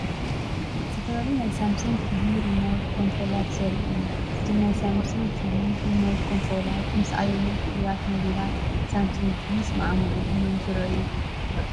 ዝተፈላለዩ ናይ ሳምሰንግ ቲቪ ሪሞት ኮንትሮላት ዘርኢ እዩ። እቶም ናይ ሳምሰንግ ቲቪ ሪሞት ኮንትሮላት ምስ ኣየኖት ፍሉያት ሞዴላት ሳምሰንግ ቲቪ ይሰማምዑ እዮም ዝረኣዩ?